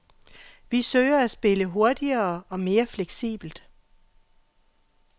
Vi forsøger at spille hurtigere og mere fleksibelt.